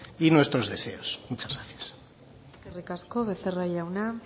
y nuestros deseos muchas gracias eskerrik asko becerra jauna